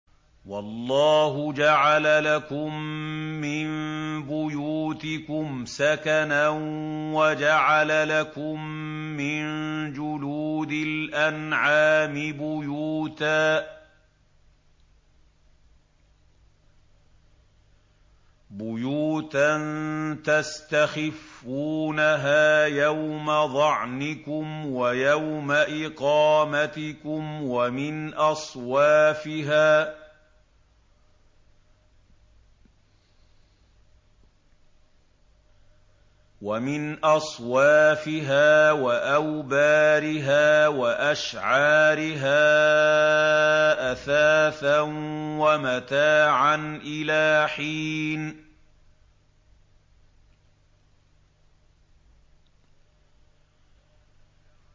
وَاللَّهُ جَعَلَ لَكُم مِّن بُيُوتِكُمْ سَكَنًا وَجَعَلَ لَكُم مِّن جُلُودِ الْأَنْعَامِ بُيُوتًا تَسْتَخِفُّونَهَا يَوْمَ ظَعْنِكُمْ وَيَوْمَ إِقَامَتِكُمْ ۙ وَمِنْ أَصْوَافِهَا وَأَوْبَارِهَا وَأَشْعَارِهَا أَثَاثًا وَمَتَاعًا إِلَىٰ حِينٍ